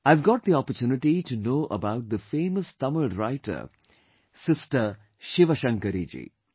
I have got the opportunity to know about the famous Tamil writer Sister ShivaShankari Ji